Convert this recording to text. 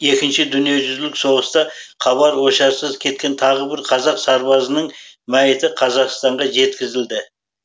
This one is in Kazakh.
екінші дүниежүзілік соғыста хабар ошарсыз кеткен тағы бір қазақ сарбазының мәйіті қазақстанға жеткізілді